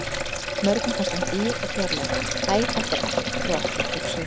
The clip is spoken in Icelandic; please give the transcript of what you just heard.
Mörgum fannst hann dýr og fjarlægur- æ þetta er ekkert fyrir okkur, hugsuðu þeir.